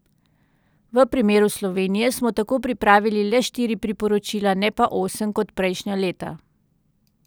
V primeru Slovenije smo tako pripravili le štiri priporočila, ne pa osem, kot prejšnja leta.